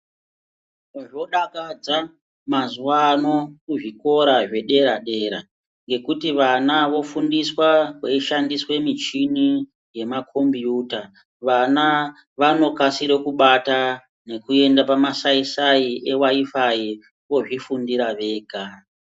Zvodakadza mazuwano kuzvikora zvedera dera ngekuti vana vofundiswa kweishandisa michini yemakombiyuta. Vana vanokasira kubata ngekuenda pamasaisai e wayifai vozvifundira vega.